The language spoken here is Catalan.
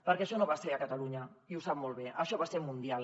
perquè això no va ser a catalunya i ho sap molt bé això va ser mundial